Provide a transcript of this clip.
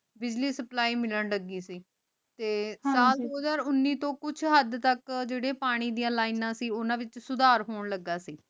ਬਿਜਲੀ supply ਮਿਲਣ ਲਾਗੀ ਸੇ ਟੀ ਸਾਲ ਦੋ ਹਾਜਰ ਉਨੀ ਤੂੰ ਕੁਛ ਹਾਦ ਤਕ ਜਿਤੀ ਪੀਨਾ ਦਯਾਨ ਲੈਣਾ ਸੇ ਉਨਾ ਵੇਚ ਸੁਦਰ ਹੁਣ ਲਗਾ ਸੇ